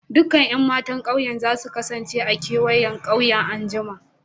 Dukan Yan matan ƙauyen za su kasance a'kewayen ƙauyen an'jumma.